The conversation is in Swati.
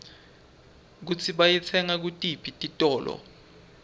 kutsi bayitsenga kutiphi titolo